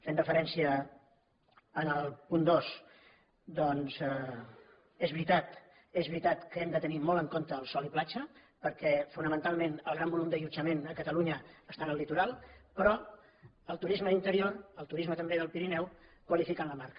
fent referència al punt dos doncs és veritat és veritat que hem de tenir molt en compte el sol i platja perquè fonamentalment el gran volum d’allotjament a catalunya està en el litoral però el turisme d’interior el turisme també del pirineu qualifiquen la marca